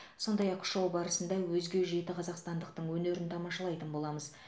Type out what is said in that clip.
сондай ақ шоу барысында өзге жеті қазақстандықтың өнерін тамашалайтын боламыз